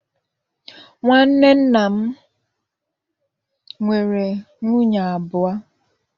Nwanne nna m nwere nwunye abụọ.